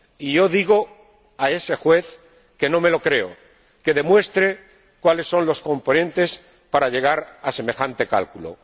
Yo digo a ese juez que no me lo creo, que demuestre cuáles son los componentes para llegar a semejante cálculo.